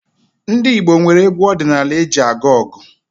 Ndị Igbo nwere egwu ọdịnaala eji aga ọgụ